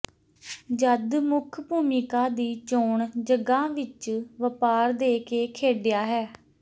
ਜਦ ਮੁੱਖ ਭੂਮਿਕਾ ਦੀ ਚੋਣ ਜਗ੍ਹਾ ਵਿੱਚ ਵਪਾਰ ਦੇ ਕੇ ਖੇਡਿਆ ਹੈ